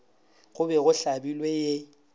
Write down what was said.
go be go hlabilwe ye